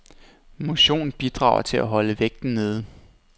Motion bidrager til at holde vægten nede.